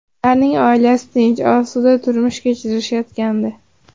Ularning oilasi tinch, osuda turmush kechirishayotgandi.